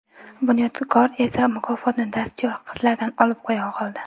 Bunyodbek esa mukofotni dastyor qizlardan olib qo‘ya qoldi.